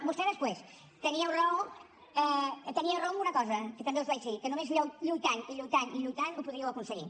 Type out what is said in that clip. vostè després teníeu raó en una cosa que també us vaig dir que només lluitant i lluitant i lluitant ho podríeu aconseguir